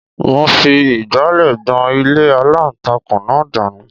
Mo fi ìgbálẹ̀ gbọn ilé aláǹtakùn náà dànù